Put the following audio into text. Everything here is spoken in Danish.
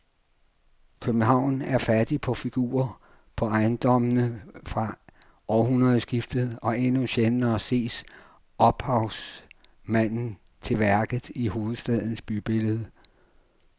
København er fattig på figurer på ejendommene fra århundredskiftet og endnu sjældnere ses ophavsmanden til værket i hovedstadens bybillede.